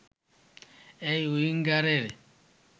এই উইঙ্গারের